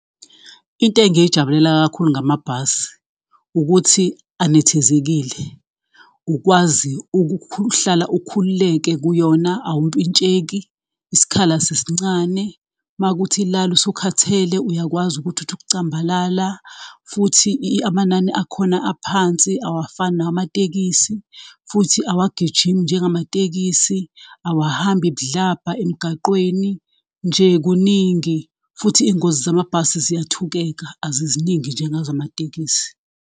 Into engiyijabulela kakhulu ngamabhasi ukuthi anethezekile ukwazi ukuhlala ukhululeke kuyona awumpintsheki, isikhala asisincane, mawukuthi lala usukhathele uyakwazi ukuthi uthi ukucambalala futhi amanani akhona aphansi, awafani nawamatekisi, futhi awagijimi njengamatekisi, awahambi budlabha emgaqweni, nje kuningi futhi izingozi zamabhasi ziyathukeka aziziningi njengezamatekisi.